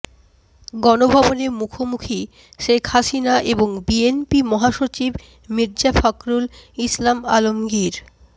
গণভবনে মুখোমুখি শেখ হাসিনা এবং বিএনপি মহাসচিব মির্জা ফখরুল ইসলাম আলমগীর